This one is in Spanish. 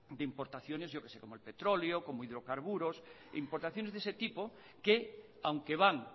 de importaciones yo que sé como el petróleo hidrocarburos importaciones de ese tipo que aunque van